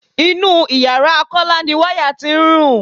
Inú ìyára Kọ́lá ni wáyà tí ń rùn.